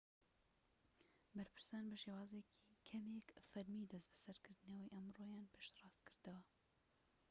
بەرپرسان بە شێوازێکی کەمێك فەرمی دەست بەسەرکردنەکەی ئەمڕۆیان پشتڕاست کردەوە